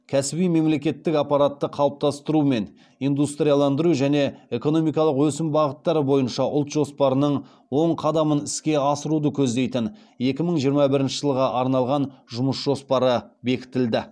кәсіби мемлекеттік аппаратты қалыптастыру мен индустрияландыру және экономикалық өсім бағыттары бойынша ұлт жоспарының он қадамын іске асыруды көздейтін екі мың жиырма бірінші жылға арналған жұмыс жоспары бекітілді